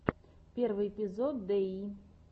первый эпизод дэйи